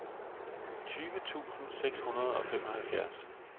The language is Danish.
tyve tusind seks hundrede og femoghalvfjerds